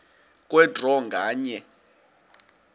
kwe draw nganye